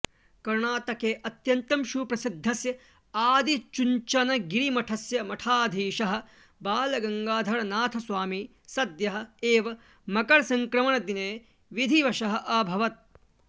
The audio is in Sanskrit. कर्णाटके अत्यन्तं सुप्रसिद्धस्य आदिचुञ्चनगिरिमठस्य मठाधीशः बालगङ्गाधरनाथस्वामी सद्यः एव मकरसङ्क्रमणदिने विधिवशः अभवत्